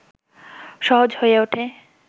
সহজ হয়ে ওঠে